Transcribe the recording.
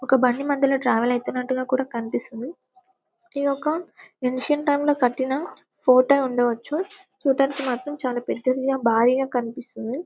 ఒక బండి మధ్యలో ట్రావెల్ ఐతునట్టుగా కూడా కనిపిస్తుంది ఇదొక ఇన్సిన్ టైం లో కట్టిన ఫోటో ఐ ఉండవచ్చు చూట్టానికి మాత్రం చాలా పెద్దదిగా భారీగా కనిపిస్తుంది.